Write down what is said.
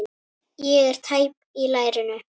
Ég er tæp í lærinu.